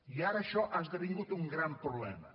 i ara això ha esdevingut un gran problema